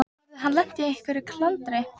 Þeir eru alltaf saman hann og Kiddi.